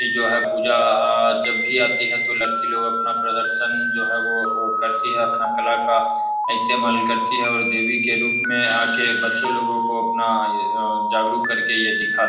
जो है पूजा जब भी आती है तो लड़की लोग अपना प्रदर्शन जो है वो करती है। अपना कला का इस्तेमाल करती है और देवी के रूप में आके बच्चो लोगो को अपना जागरूक करके ये दिखा --